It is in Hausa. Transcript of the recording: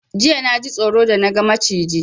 Jiya naji tsoro da na ga Maciji